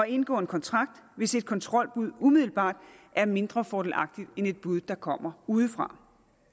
indgå en kontrakt hvis et kontrolbud umiddelbart er mindre fordelagtigt end et bud der kommer udefra